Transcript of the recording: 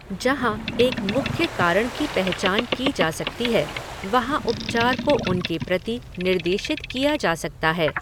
जहाँ एक मुख्य कारण की पहचान की जा सकती है, वहाँ उपचार को उनके प्रति निर्देशित किया जा सकता है।